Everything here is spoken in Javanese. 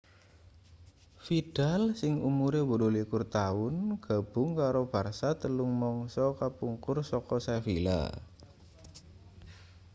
vidal sing umure 28 taun gabung karo barça telung mangsa kapungkur saka sevilla